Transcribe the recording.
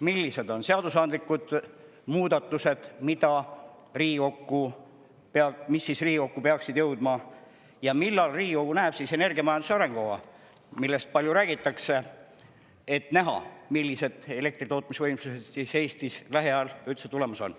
millised on seadusandlikud algatused ja muudatused, mis peaksid Riigikokku jõudma, ja millal näeb Riigikogu energiamajanduse arengukava, millest on palju räägitud, et näha, millised elektritootmisvõimsused üldse lähiajal Eestisse tulemas on?